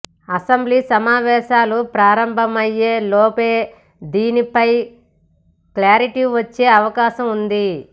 assembly సమావేశాలు ప్రారంభమయ్యేలోపే దీనిపై క్లారిటీ వచ్చే అవకాశం ఉంది